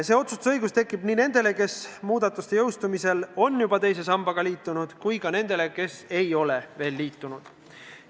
See otsustusõigus tekib nii nendel, kes muudatuste jõustumisel on juba teise sambaga liitunud, kui ka nendel, kes ei ole veel liitunud.